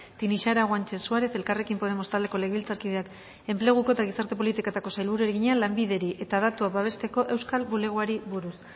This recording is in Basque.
tinixara guanche suárez elkarrekin podemos taldeko legebiltzarkideak enpleguko eta gizarte politiketako sailburuari egina lanbideri eta datuak babesteko euskal bulegoari buruz